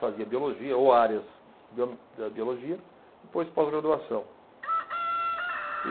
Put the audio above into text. Fazia biologia ou áreas da da biologia e depois pós-graduação.